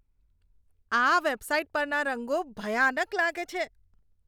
આ વેબસાઇટ પરના રંગો ભયાનક લાગે છે.